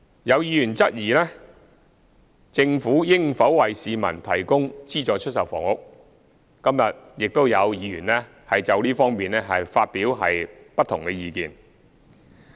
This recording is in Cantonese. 有議員質疑政府應否為市民提供資助出售房屋，今天亦有議員就這方面發表不同的意見。